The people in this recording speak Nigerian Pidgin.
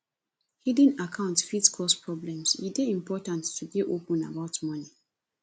hidden accounts fit cause problems e dey important to dey open about money